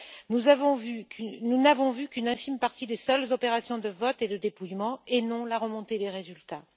Nous n'avons vu qu'une infime partie des seules opérations de vote et de dépouillement, et non la remontée des résultats.